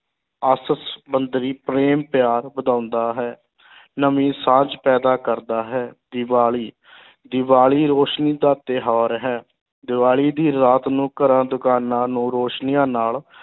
ਆਪਸ ਸੰਬੰਧ ਵੀ ਪ੍ਰੇਮ ਪਿਆਰ ਵਧਾਉਂਦਾ ਹੈ ਨਵੀਂ ਸਾਂਝ ਪੈਦਾ ਕਰਦਾ ਹੈ, ਦੀਵਾਲੀ ਦੀਵਾਲੀ ਰੋਸ਼ਨੀ ਦਾ ਤਿਉਹਾਰ ਹੈ, ਦੀਵਾਲੀ ਦੀ ਰਾਤ ਨੂੰ ਘਰਾਂ, ਦੁਕਾਨਾਂ ਨੂੰ ਰੌਸ਼ਨੀਆਂ ਨਾਲ